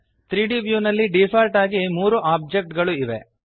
3ದ್ ವ್ಯೂ ನಲ್ಲಿ ಡಿಫಾಲ್ಟ್ ಆಗಿ ಮೂರು ಒಬ್ಜೆಕ್ಟ್ ಗಳು ಇವೆ